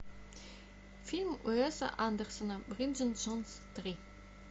фильм уэса андерсона бриджит джонс три